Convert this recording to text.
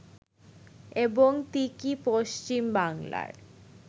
এবং তিকি পশ্চিমবাংলার